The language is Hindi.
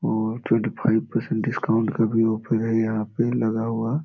और ट्वेंटी फाइव पर्सेंट डिस्काउंट का भी ऑफर है। यहाँ पे लगा हुआ है।